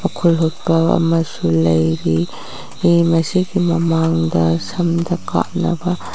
ꯍꯨꯠꯄ ꯑꯃꯁꯨ ꯂꯩꯒꯤ ꯃꯁꯤꯒꯤ ꯃꯃꯥꯡꯗ ꯁꯝꯗ ꯀꯥꯞꯅꯕ --